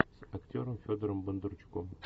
с актером федором бондарчуком